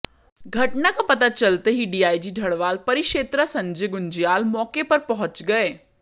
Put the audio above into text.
घटना का पता चलते ही डीआईजी ढ़वाल परिक्षेत्रा संजय गुंजयाल मौके पर पहुंचे गए